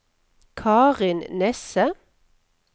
Karin Nesse